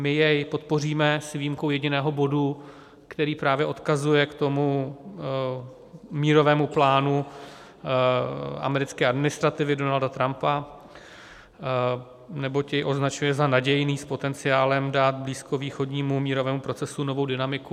My jej podpoříme s výjimkou jediného bodu, který právě odkazuje k tomu mírovému plánu americké administrativy Donalda Trumpa, neboť jej označuje za nadějný s potenciálem dát blízkovýchodnímu mírovému procesu novou dynamiku.